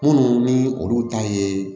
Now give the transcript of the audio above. Minnu ni olu ta ye